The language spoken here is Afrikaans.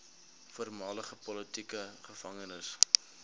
voormalige politieke gevangenes